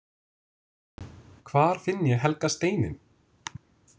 Hvar finn ég „helga steininn“!?